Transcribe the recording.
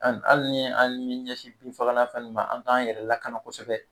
Ane ali ali ni m'i ɲɛsin binfagalan ta nin ma an k'an yɛrɛ lakana kosɛbɛ